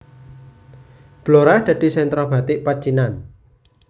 Blora dadi sentra batik pecinan